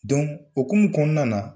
o hukumu kɔnɔna na